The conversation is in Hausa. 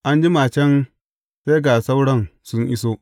An jima can, sai ga sauran sun iso.